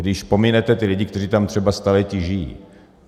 Když pominete ty lidi, kteří tam třeba staletí žijí.